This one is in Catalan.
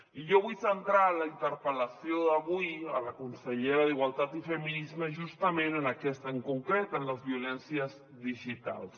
i jo vull centrar la interpel·lació d’avui a la consellera d’igualtat i feminismes justament en aquestes en concret en les violències digitals